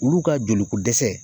Olu ka jolikodɛsɛ